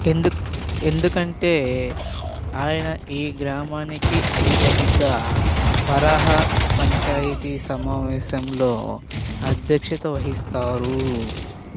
ఎందుకంటే ఆయన ఈ గ్రామానికి అధిపతిగా పార్హా పంచాయతీ సమావేశంలో అధ్యక్షత వహిస్తారు